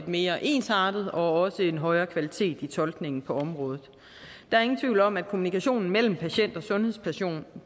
mere ensartethed og højere kvalitet i tolkningen på området der er ingen tvivl om at kommunikationen mellem patient og sundhedsperson